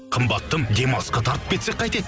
қымбаттым демалысқа тартып кетсек қайтеді